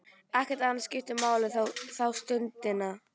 Ekkert annað skiptir máli þá stundina.